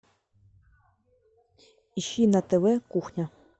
ищи на тв кухня